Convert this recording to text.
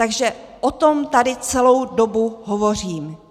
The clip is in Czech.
Takže o tom tady celou dobu hovořím.